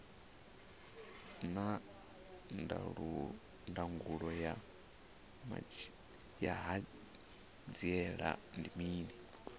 naa ndangulo ya hanziela ndi mini